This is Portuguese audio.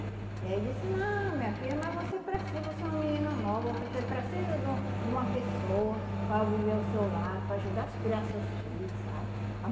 Aí ele disse, não, minha filha, mas você precisa, você é uma menina nova, você precisa de um de uma pessoa para viver ao seu lado, para ajudar a criar seus filhos, sabe?